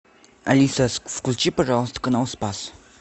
алиса включи пожалуйста канал спас